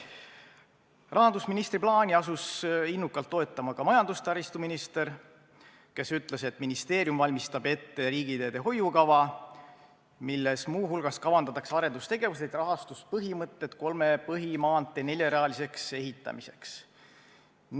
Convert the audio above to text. Rahandusministri plaani asus innukalt toetama ka majandus- ja taristuminister, kes ütles, et ministeerium valmistab ette riigiteede hoiukava, milles muu hulgas kavandatakse arendustegevused ja rahastuspõhimõtted kolme põhimaantee neljarealiseks ehitamiseks.